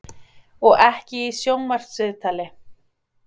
Og ekki í sjónvarpsviðtali!